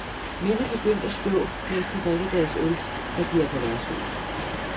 Mænd er begyndt at stå mens de drikker deres øl, når de er på værtshus.